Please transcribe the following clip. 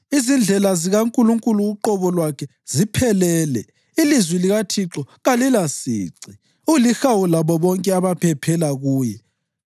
Izindlela zikaNkulunkulu uqobo lwakhe ziphelele; ilizwi likaThixo kalilasici. Ulihawu labo bonke abaphephela kuye.